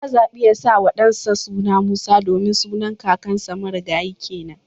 Ya zabi ya sawa dansa suna Musa domin sunan kakansa marigayi kenan